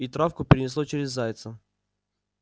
и травку перенесло через зайца